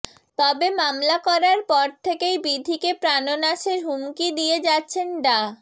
তবে মামলা করার পর থেকেই বিথীকে প্রাণনাশের হুমকি দিয়ে যাচ্ছেন ডা